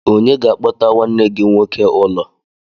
Onye ga-akpọta nwanne gị nwoke ụlọ?